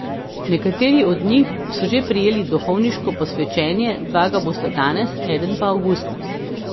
Nekateri od njih so že prejeli duhovniško posvečenje, dva ga bosta danes, eden pa avgusta.